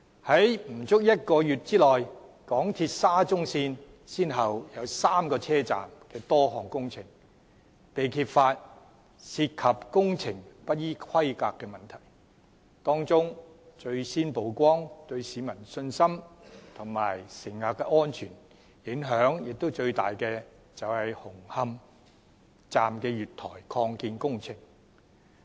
在不足1個月內，港鐵沙中線先後有3個車站的多項工程被揭發涉及工程不依規格的問題，當中最先曝光，對市民信心及乘客安全影響最大的是紅磡站的月台擴建工程。